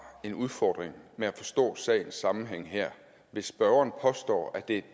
en udfordring med at forstå sagens sammenhæng her hvis spørgeren påstår at det